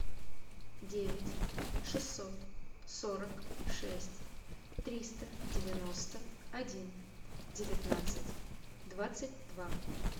девять шестьсот сорок шесть триста девяносто один девятнадцать двадцать два